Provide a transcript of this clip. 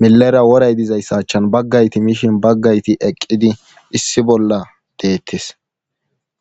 milera woray dizyssa achchan bagga woran mishin baggayti eqqidi issi bolla deettes.